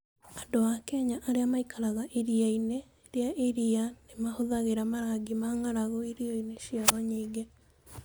Andũ a Kenya arĩa maikaraga Iria-inĩ rĩa Iria nĩ mahũthagĩra marangi ma ng'aragu irio-inĩ ciao nyingĩ.